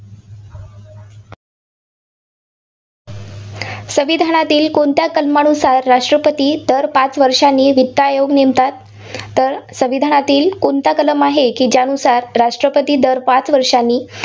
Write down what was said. संविधानातील कोणत्या कलमानुसार राष्ट्रपती दर पाच वर्षांनी वित्त आयोग नेमतात? तर संविधानातील कोणता कलम आहे, की ज्यानुसार राष्ट्रपती दर पाच वर्षांनी